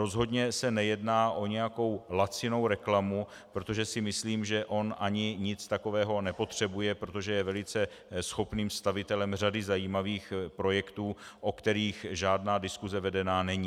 Rozhodně se nejedná o nějakou lacinou reklamu, protože si myslím, že on ani nic takového nepotřebuje, protože je velice schopným stavitelem řady zajímavých projektů, o kterých žádná diskuse vedena není.